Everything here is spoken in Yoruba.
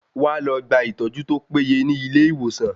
Wá lọ gba ìtọ́jú tó péye ní ilé ìwòsan.